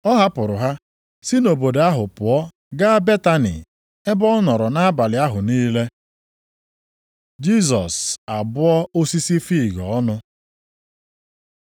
Ọ hapụrụ ha, si nʼobodo ahụ pụọ gaa Betani, ebe ọ nọrọ nʼabalị ahụ niile. Jisọs abụọ osisi fiig ọnụ